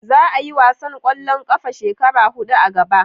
Za a yi wasan kwallon kafa shekara hudu a gaba